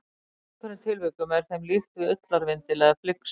Í einhverjum tilvikum er þeim líkt við ullarvindil eða flyksu.